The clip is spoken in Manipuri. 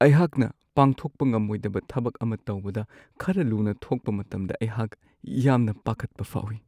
ꯑꯩꯍꯥꯛꯅ ꯄꯥꯡꯊꯣꯛꯄ ꯉꯝꯃꯣꯏꯗꯕ ꯊꯕꯛ ꯑꯃ ꯇꯧꯕꯗ ꯈꯔ ꯂꯨꯅ ꯊꯣꯛꯄ ꯃꯇꯝꯗ ꯑꯩꯍꯥꯛ ꯌꯥꯝꯅ ꯄꯥꯈꯠꯄ ꯐꯥꯎꯋꯤ ꯫